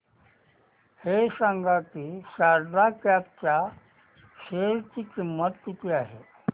हे सांगा की शारदा क्रॉप च्या शेअर ची किंमत किती आहे